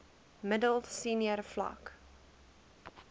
middel senior vlak